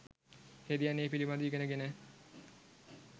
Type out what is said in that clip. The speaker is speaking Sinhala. හෙදියන් ඒ පිළිබඳව ඉගෙන ගෙන